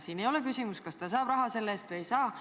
Siin ei ole küsimus selles, kas ta saab raha selle eest või ei saa.